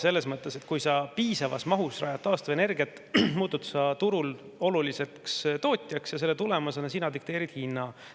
Selles mõttes, et kui sa piisavas mahus rajad taastuvenergia, muutud sa turul oluliseks tootjaks ja selle tulemusena sina dikteerid hinna.